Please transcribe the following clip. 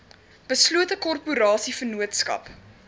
beslote korporasie vennootskap